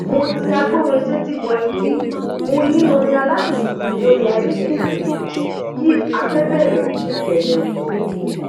mo ti agbórinsétí bọ ẹtí mo yín ọrin aládùn síi lóri iphone mi kí afẹ bẹrẹ ní kẹlẹwu